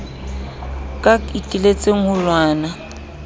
ka ke iteletse ho lwana